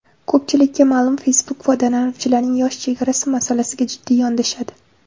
Ko‘pchilikka ma’lum, Facebook foydalanuvchilarning yosh chegarasi masalasiga jiddiy yondashadi.